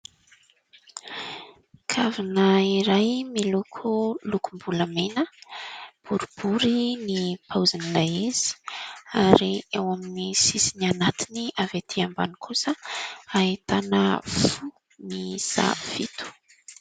Kavina iray miloko lokombolamena, boribory ny paozin'ilay izy ary eo amin'ny sisiny anatiny avy aty ambany kosa ahitana fo miisa fito.